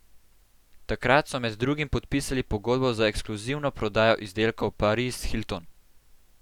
Takrat so med drugim podpisali pogodbo za ekskluzivno prodajo izdelkov Paris Hilton.